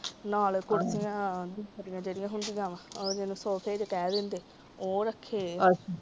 ਨਾਲੇ ਕੁਰਸੀਆਂ ਉਹ ਜਿਹੜੀਆਂ ਹੁੰਦੀਆਂ ਵ ਉਹ ਜਿਨੂੰ ਸੋਫੇ ਦੇ ਕਹਿ ਦਿੰਦੇ ਉਹ ਰੱਖੇ ਨੇ।